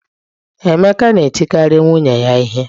Emeka na-etikarị nwunye ya ihe